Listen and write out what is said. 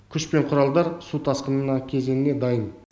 күш пен құралдар су тасқынына кезеңіне дайын